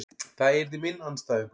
Það yrði minn andstæðingur.